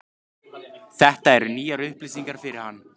Þetta eru nýjar upplýsingar fyrir hana.